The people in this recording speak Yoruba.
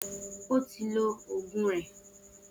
O ti lo ogun rẹ.